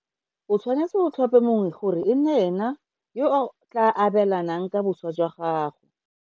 O tshwanetse o tlhope mongwe gore e nne ene yo a tla abelanang ka boswa jwa gago.